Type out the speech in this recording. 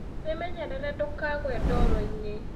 Wĩmenyerere ndũkagũe ndoro-inĩ.